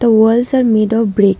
The walls are made of bricks.